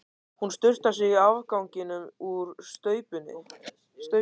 Hún sturtar í sig afganginum úr staupinu.